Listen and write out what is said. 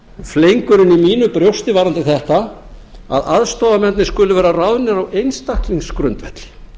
fleygurinn í mínu brjósti varðandi þetta er að aðstoðarmennirnir skuli vera ráðnir á einstaklingsgrundvelli